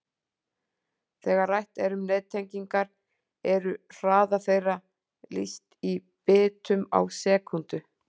Þegar rætt er um nettengingar eru hraða þeirra lýst í bitum á sekúndu.